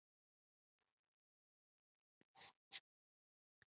hvers vegna er þessi munur á eðli afbrota milli kynjanna